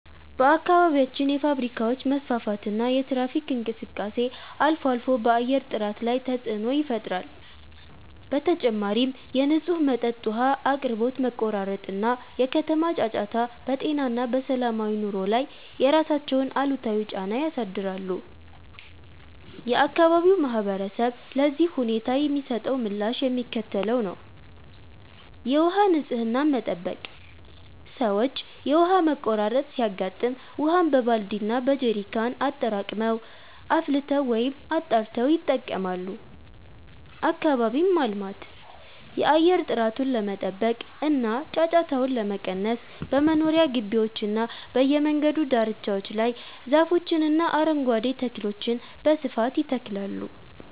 በአካባቢያችን የፋብሪካዎች መስፋፋትና የትራፊክ እንቅስቃሴ አልፎ አልፎ በአየር ጥራት ላይ ተፅዕኖ ይፈጥራል። በተጨማሪም የንጹህ መጠጥ ውሃ አቅርቦት መቆራረጥ እና የከተማ ጫጫታ በጤና እና በሰላማዊ ኑሮ ላይ የራሳቸውን አሉታዊ ጫና ያሳድራሉ። የአካባቢው ማህበረሰብ ለዚህ ሁኔታ የሚሰጠው ምላሽ የሚከተለው ነው፦ የውሃ ንፅህናን መጠበቅ፦ ሰዎች የውሃ መቆራረጥ ሲያጋጥም ውሃን በባልዲ እና በጀሪካን አጠራቅመው፣ አፍልተው ወይም አጣርተው ይጠቀማሉ። አካባቢን ማልማት፦ የአየር ጥራቱን ለመጠበቅ እና ጫጫታውን ለመቀነስ በመኖሪያ ግቢዎችና በየመንገዱ ዳርቻዎች ላይ ዛፎችንና አረንጓዴ ተክሎችን በስፋት ይተክላሉ።